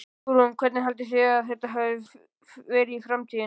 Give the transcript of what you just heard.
Hugrún: Hvernig haldið þið að þetta verði í framtíðinni?